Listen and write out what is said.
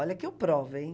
Olha que eu provo, hein?